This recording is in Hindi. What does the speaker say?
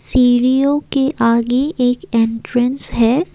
सीढ़ियों के आगे एक एंट्रेंस है।